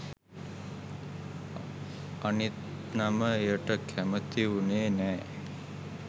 අනිත් නම එයට කැමති වුනේ නෑ